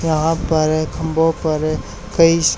यहां पर खंभों पर कई सा--